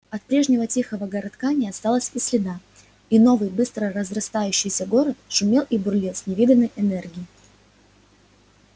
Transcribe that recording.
от прежнего тихого городка не осталось и следа и новый быстро разраставшийся город шумел и бурлил с невиданной энергией